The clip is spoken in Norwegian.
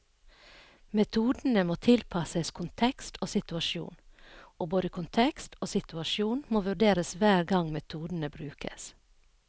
Metodene må tilpasses kontekst og situasjon, og både kontekst og situasjon må vurderes hver gang metodene brukes.